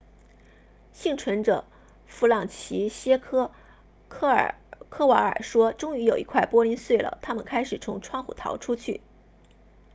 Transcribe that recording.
幸存者弗朗齐歇克科瓦尔说终于有一块玻璃碎了他们开始从窗户逃出去